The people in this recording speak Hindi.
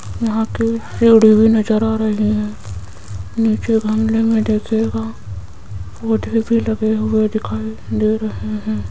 यहां की सीढ़ी भी नजर आ रही है नीचे गमले में देखिएगा पौधे भी लगे हुए दिखाई दे रहे हैं।